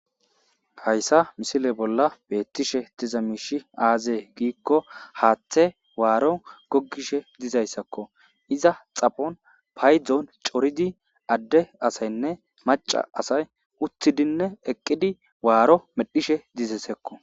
Haysa misile bolla betishe diza mishi aze giko hathe waro gogishe dizaysako iza xaphon paydon coridinne ade asayne maca asay uttidine equdi waro medhishe dizaysako